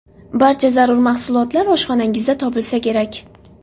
Barcha zarur mahsulotlar oshxonangizda topilsa kerak.